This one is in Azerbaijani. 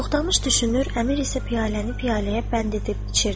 Toxdamış düşünür, əmir isə piyaləni piyaləyə bənd edib içirdi.